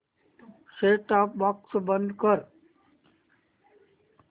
set top box बंद कर